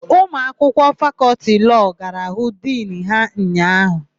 Ụmụakwụkwọ Fakọltị Lọọ gara hụ Dinu ha ụnyaahụ.